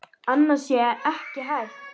Annað sé ekki hægt.